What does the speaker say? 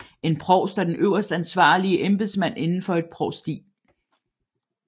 En provst er den øverste ansvarlige embedsmand inden for et provsti